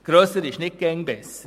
Grösser ist nicht immer besser.